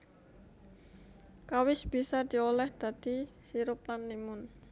Kawis bisa diolah dadi sirup lan limun